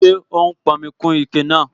Ṣé ó n pọnmi kún ike náà?